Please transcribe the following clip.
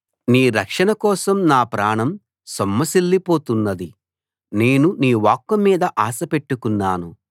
నీ రక్షణ కోసం నా ప్రాణం సొమ్మసిల్లిపోతున్నది నేను నీ వాక్కు మీద ఆశపెట్టుకున్నాను